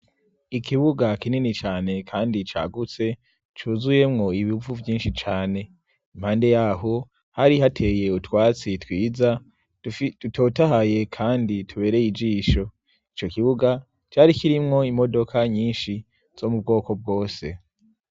Ikibuga kinini cane kandi cagutse, cuzuyemwo ibivu vyinshi cane. Impande ya ho, hari hateye utwatsi twiza dutotahaye kandi tubereye ijisho. Ico kibuga cari kirimwo imodoka nyinshi zo mu bwoko bwose.